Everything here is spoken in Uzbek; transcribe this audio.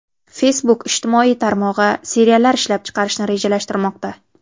Facebook ijtimoiy tarmog‘i seriallar ishlab chiqarishni rejalashtirmoqda.